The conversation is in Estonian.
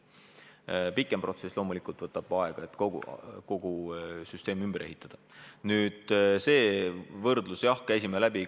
Pikem protsess, et kogu süsteem ümber ehitada loomulikult võtab rohkem aega.